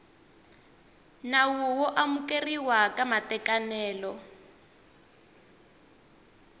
nawu wo amukeriwa ka matekanelo